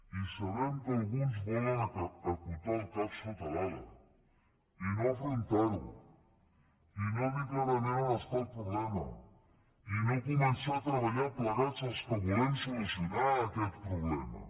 i sabem que alguns volen acotar el cap sota l’ala i no afrontarho i no dir clarament on hi ha el problema i no començar a treballar plegats els que volem solucionar aquest problema